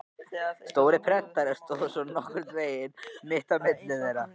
Stór prentari stóð svo nokkurn veginn mitt á milli þeirra.